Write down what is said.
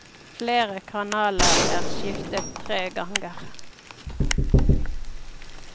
Flere kanaler er skiftet tre ganger.